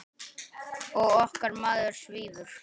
Og okkar maður svífur.